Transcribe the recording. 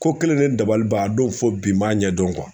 Ko kelen de dabali ban a don fo bi m'a ɲɛdɔn